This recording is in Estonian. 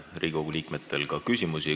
Riigikogu liikmetel on teile küsimusi.